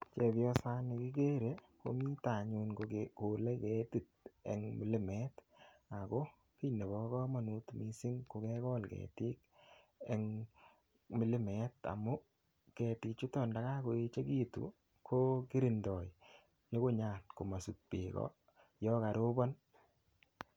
Chepiosani kigere komito anyun kogole ketit eng milimet ago kiy nebo kamanut mising ko kegol ketik eng milimet amu ketichuto ndakakoegitu ko kirindo nyungunyat komosip beek kot yo karibon.